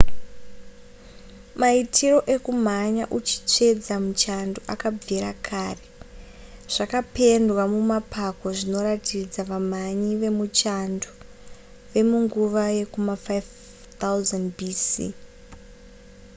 maitiro ekumhanya uchitsvedza muchando akabvira kare zvakapendwa mumapako zvinoratidza vamhanyi vemuchando vemunguva yekuma 5000 bc